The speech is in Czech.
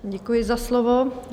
Děkuji za slovo.